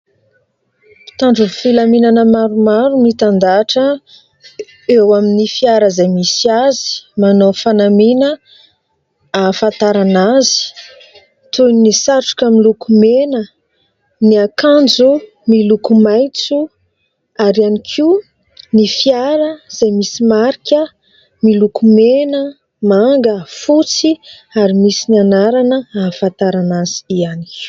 Mpitandro ny filaminana maromaro mitandahatra eo amin'ny fiara izay misy azy. Manao fanamiana ahafantarana azy toy ny satroka miloko mena, ny akanjo miloko maitso ary ihany koa ny fiara izay misy marika miloko mena, manga, fotsy ary misy ny anarana ahafantarana azy ihany koa.